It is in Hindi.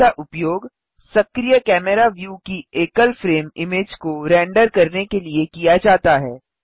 इमेज का उपयोग सक्रिय कैमरा व्यू की एकल फ्रेम इमेज को रेंडर करने के लिए किया जाता है